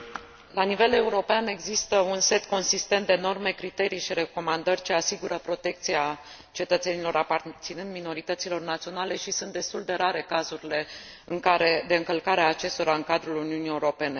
La nivel european există un set consistent de norme, criterii și recomandări ce asigură protecția cetățenilor aparținând minorităților naționale și sunt destul de rare cazurile de încălcare a acestora în cadrul Uniunii Europene.